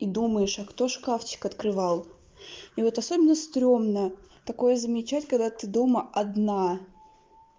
и думаешь а кто шкафчик открывал и вот особенно стрёмно такое замечать когда ты дома одна